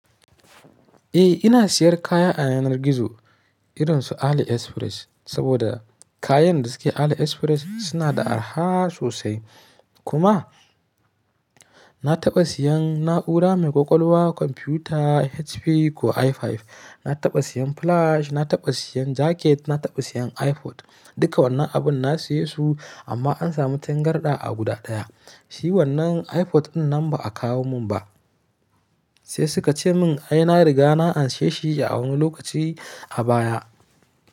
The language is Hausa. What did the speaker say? Eh ina siyan kaya a yanar gizo irin su AliExpress, saboda kayan da suke AliExpress suna da araha sosai. Kuma na taɓa siyan na'ura mai ƙwaƙwalwa kwamfiyuta HP ko i5, na taɓa siyan flash, na taɓa siyan jaket, na taɓa siyan iPod. Duka wannan abun na siye su amma an samu tangarɗa a guda ɗaya. Shi wannan iPod ɗin nan ba a kawo mun ba sai suka ce min ai na riga na anshi shi a wani lokaci a baya.